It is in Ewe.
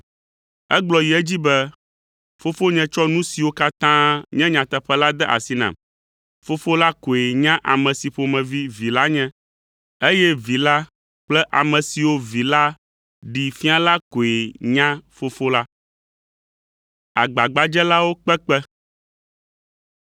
Egblɔ yi edzi be, “Fofonye tsɔ nu siwo katã nye nyateƒe la de asi nam. Fofo la koe nya ame si ƒomevi Vi la nye, eye Vi la kple ame siwo Vi la ɖee fia la koe nya Fofo la.”